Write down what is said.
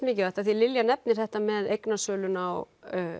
mikilvægt því Lilja nefnir þetta með eignasöluna og